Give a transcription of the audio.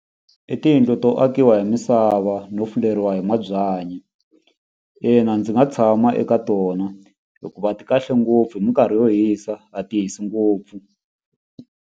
I tiyindlu to akiwa hi misava no fuleriwa hi mabyanyi ina ndzi nga tshama eka tona hikuva ti kahle ngopfu hi minkarhi yo hisa a ti hisi ngopfu.